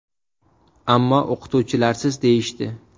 Ammo o‘qituvchilarsiz, deyishdi.